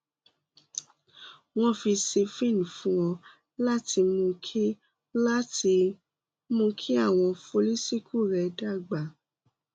wọn fi siphene fún ọ láti mú kí láti mú kí àwọn follicle rẹ dàgbà